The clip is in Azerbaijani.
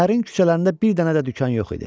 Şəhərin küçələrində bir dənə də dükan yox idi.